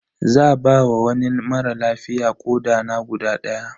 Za ba wa wani mara lafiya koɗa na guda daya.